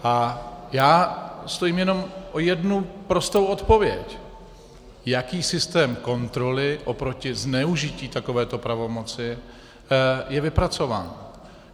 A já stojím jenom o jednu prostou odpověď: Jaký systém kontroly oproti zneužití takovéto pravomoci je vypracován?